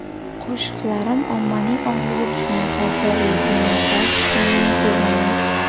Qo‘shiqlarim ommaning og‘ziga tushmay qolsa, reytingim sal tushganini sezaman.